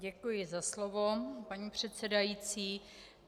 Děkuji za slovo, paní předsedající.